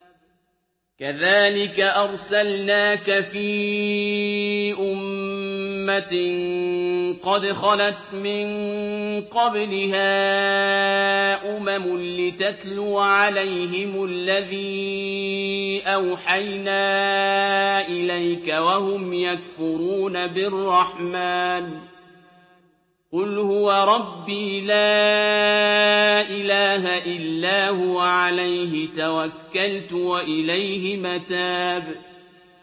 كَذَٰلِكَ أَرْسَلْنَاكَ فِي أُمَّةٍ قَدْ خَلَتْ مِن قَبْلِهَا أُمَمٌ لِّتَتْلُوَ عَلَيْهِمُ الَّذِي أَوْحَيْنَا إِلَيْكَ وَهُمْ يَكْفُرُونَ بِالرَّحْمَٰنِ ۚ قُلْ هُوَ رَبِّي لَا إِلَٰهَ إِلَّا هُوَ عَلَيْهِ تَوَكَّلْتُ وَإِلَيْهِ مَتَابِ